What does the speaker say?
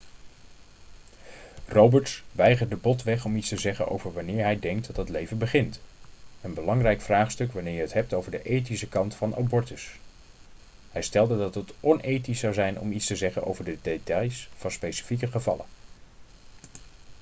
roberts weigerde botweg om iets te zeggen over wanneer hij denkt dat het leven begint een belangrijk vraagstuk wanneer je het hebt over de ethische kant van abortus hij stelde dat het onethisch zou zijn om iets te zeggen over de details van specifieke gevallen